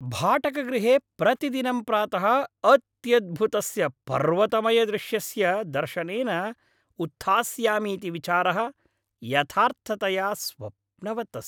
भाटकगृहे प्रतिदिनं प्रातः अत्यद्भुतस्य पर्वतमयदृश्यस्य दर्शनेन उत्थास्यामीति विचारः यथार्थतया स्वप्नवत् अस्ति।